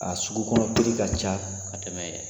A sugu kɔnɔ ka ca ka tɛmɛ ye